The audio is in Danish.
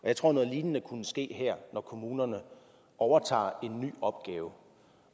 jeg tror at noget lignende kunne ske her når kommunerne overtager en ny opgave